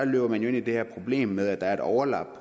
løber man jo ind i det her problem med at der er et overlap